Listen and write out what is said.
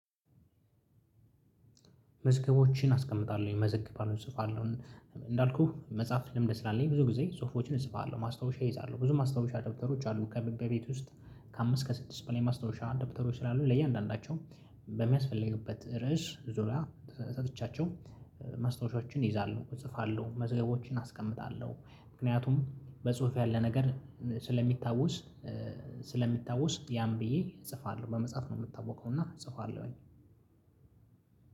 መዝገቦችን አስቀምጣለሁ የመዘግባን እጽፋለሁ እንዳልኩህ መጽሐፍ ልምድ ስላለኝ ብዙ ጊዜ ጽሁፎችን እጽፋለሁ ማስታወሻ እይዛለሁ ብዙ ማስታወሻ ደብተሮች አሉ ከቤት ውስጥ። ከአምስት ከስድስት በላይ ማስታወሻ ደብተሮች ስላሉ ለእያንዳንዳቸው በሚያስፈልግበት ርዕስ ዙሪያ ሰጥቻቸው መስታወሻዎችን ይይዛሉ እጽፋለሁ መዝገቦችን አስቀምጣለሁ። ምክንያቱም በጽሁፍ ያለ ነገር ስለሚታወስ ስለሚታወስ ያም ብዬ እጽፋለሁ በመጽሐፍ ነው የምታወከው እና ጽፏል ወይ?